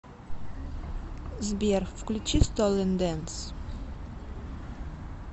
сбер включи столен дэнс